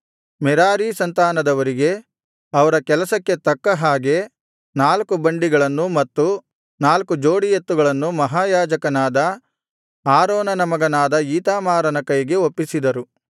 Merari ಸಂತಾನದವರಿಗೆ ಅವರ ಕೆಲಸಕ್ಕೆ ತಕ್ಕ ಹಾಗೆ ನಾಲ್ಕು ಬಂಡಿಗಳನ್ನು ಮತ್ತು ನಾಲ್ಕು ಜೋಡಿ ಎತ್ತುಗಳನ್ನು ಮಹಾಯಾಜಕನಾದ ಆರೋನನ ಮಗನಾದ ಈತಾಮಾರನ ಕೈಗೆ ಒಪ್ಪಿಸಿದರು